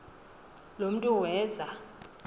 lo mntu weza